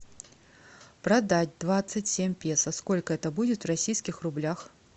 продать двадцать семь песо сколько это будет в российских рублях